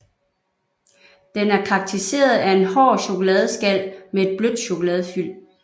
Den er karakteriseret af en hård chokoladeskal med en blødt chokoladefyld